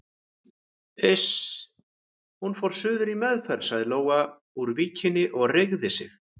Iss, hún fór suður í meðferð sagði Lóa úr Víkinni og reigði sig.